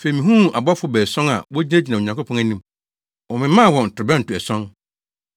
Afei mihuu abɔfo baason a wogyinagyina Onyankopɔn anim. Wɔmemaa wɔn ntorobɛnto ason.